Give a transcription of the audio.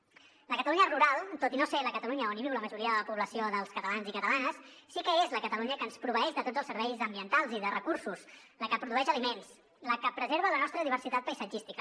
la catalunya rural tot i no ser la catalunya on viu la majoria de la població dels catalans i catalanes sí que és la catalunya que ens proveeix de tots els serveis ambientals i de recursos la que produeix aliments la que preserva la nostra diversitat paisatgística